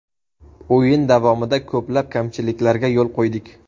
O‘yin davomida ko‘plab kamchiliklarga yo‘l qo‘ydik.